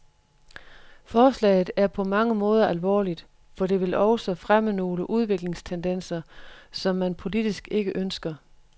Forslaget er på mange måder alvorligt, for det vil også fremme nogle udviklingstendenser, som man politisk ikke ønsker.